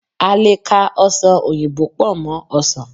a lè ka ọsán oyinbo pò mó ọsàn